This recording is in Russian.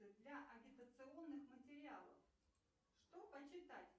для агитационных материалов что почитать